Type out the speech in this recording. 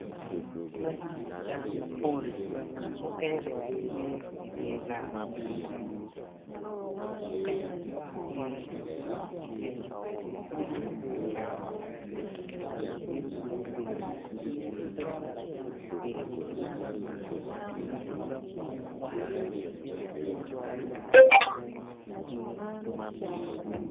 Magi dano ma gitye mapol mukene gitye i dye nam ka kwang muknen tye i teng kulu nam nngat acel obedo i wi kinaka lutini gitye ka tuko odilo.